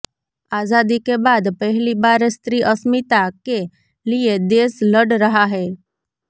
આઝાદી કે બાદ પહેલી બાર સ્ત્રી અસ્મિતા કે લીયે દેશ લડ રહા હૈ